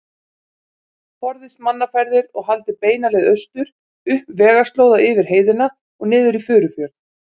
Forðist mannaferðir og haldið beina leið austur, upp vegarslóða yfir heiðina og niður í Furufjörð.